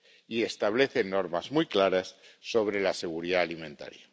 Y establece normas muy claras sobre seguridad alimentaria.